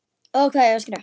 Og hvað á ég að skrifa?